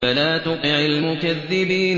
فَلَا تُطِعِ الْمُكَذِّبِينَ